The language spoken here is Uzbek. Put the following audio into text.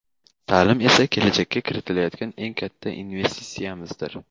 ta’lim esa kelajakka kiritayotgan eng katta investitsiyamizdir.